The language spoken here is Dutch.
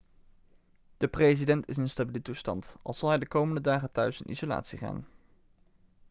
de president is in stabiele toestand al zal hij de komende dagen thuis in isolatie gaan